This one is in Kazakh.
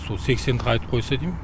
сол сексенді қайтып қойса дейм